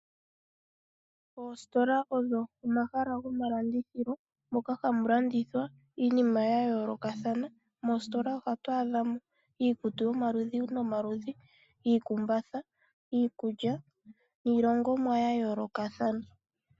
Oositola odho omahala gomalandithilo moka hamu landithwa iinima yayoolokathana. Moositola ohatu adhamo iikutu yomaludhi nomaludhi, iikumbatha, iikulya niilongomwa ya yoolokathana.